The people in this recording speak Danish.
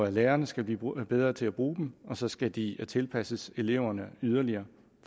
og lærerne skal blive bedre til at bruge dem og så skal de tilpasses eleverne yderligere